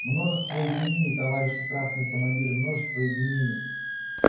множество извинений товарищи красные командиры множество извинений